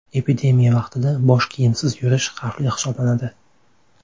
Epidemiya vaqtida bosh kiyimsiz yurish xavfli hisoblanadi.